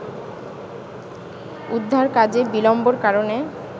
উদ্ধারকাজে বিলম্বর কারণে